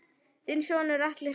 Þinn sonur Atli Rafn.